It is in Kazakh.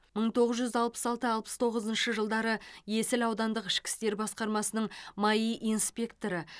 мың тоғыз жүз алпыс алты алпыс тоғызыншы жылдары есіл аудандық ішкі істер басқармасының маи инспекторы